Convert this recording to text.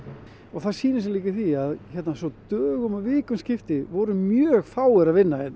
það sýnir sig líka í því að hérna svo dögum og vikum skiptir voru mjög fáir að vinna hérna